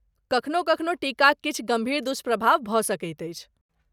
कखनो कखनो टीकाक किछु गम्भीर दुष्प्रभाव भऽ सकैत अछि।